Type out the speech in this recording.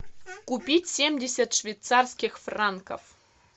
купить семьдесят швейцарских франков